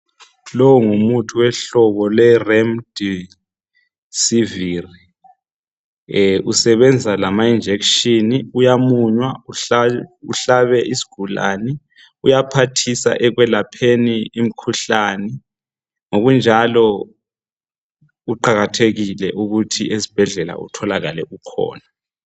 Lo ngumuthi wehlobo le Remdisivir usebenza lama injection uyamunywa uhlabe isigulane uyaphathisa ekwelapheni imikhuhlane ngokunjalo kuqakathekile ukuthi ezibhedlela utholakale ukhona.